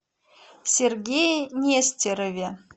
сергее нестерове